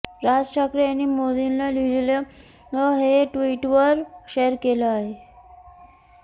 राज ठाकरे यांनी मोदींना लिहिलेलं हे पत्र ट्विटरवर शेअर केलं आहे